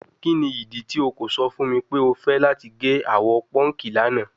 Kini idi ti o ko sọ fun mi pe o fẹ lati ge awọ pọnki lana?